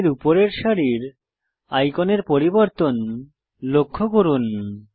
প্যানেলের উপরের সারির আইকনের পরিবর্তন লক্ষ্য করুন